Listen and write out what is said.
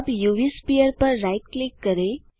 अब UV sphere पर right click करें